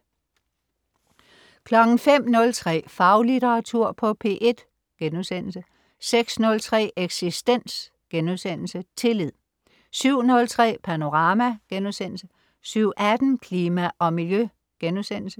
05.03 Faglitteratur på P1* 06.03 Eksistens.* Tillid 07.03 Panorama* 07.18 Klima og Miljø*